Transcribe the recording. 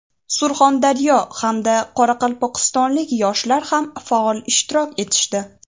Surxondaryo hamda Qoraqalpog‘istonlik yoshlar ham faol ishtirok etishdi.